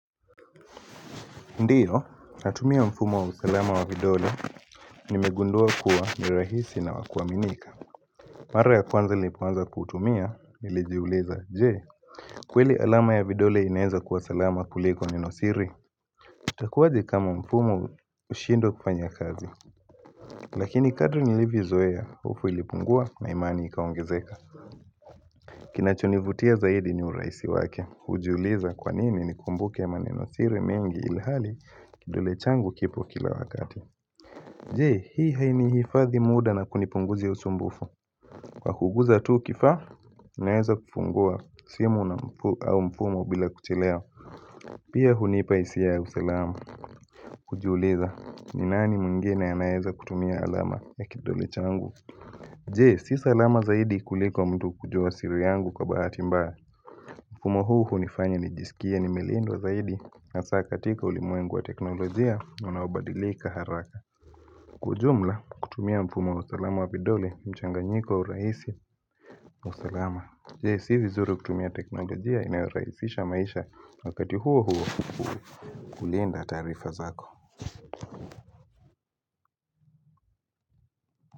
Ndio, natumia mfumo wa usalama wa vidole, nimegundua kuwa ni rahisi na wakuaminika. Mara ya kwanza nilipoanza kutumia, nilijiuliza, jee kweli alama ya vidole inaeza kuwa salama kuliko neno siri Itakuaje kama mfumo ushindwe kufanya kazi Lakini kadri nilivyo zoea, hofu ilipungua na imani ikaongezeka Kinachonivutia zaidi ni uraisi wake, ujiuliza kwanini ni kumbuke maneno siri mengi ilhali kidule changu kipo kila wakati Jee, hii haini hifadhi muda na kunipunguzia usumbufu Kwa kugusa tu kifa, naeza kufungua simu na mfumo bila kuchelewa Pia hunipa hisia ya usalamu, kujiuliza, ni nani mwengine anaeza kutumia alama ya kidole changu Jee, si salama zaidi kuliko mtu kujua siri yangu kwa baati mbaya mfumo huu hunifanya nijisikie nimelindwa zaidi hasa katika ulimwengu wa teknolojia, unaobadilika haraka kijumla kutumia mfumo wa usalama wa vidole mchanganyiko rahisi wa usalama Yes si vizuri kutumia teknolojia inayo raisisha maisha wakati huo huo kulinda tarifa zako.